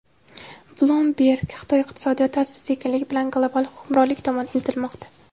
Bloomberg: Xitoy iqtisodiyoti asta-sekinlik bilan global hukmronlik tomon intilmoqda.